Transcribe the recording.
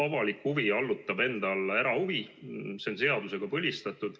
Avalik huvi allutab erahuvi ja see on seadusega põlistatud.